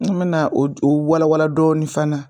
N kun bɛ na o walawala dɔɔni fana